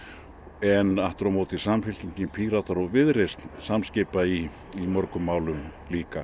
en aftur á móti Samfylkingin Píratar og Viðreisn samskipa í mörgum málum líka